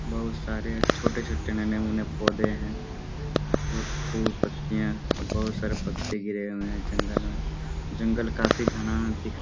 बहुत सारे छोटे - छोटे नन्हे मुंहे पौधे हैं और फूल पत्तियां और बहुत सारे पत्ते गिरे हुए हैं जंगल में जंगल काफी घना दिख --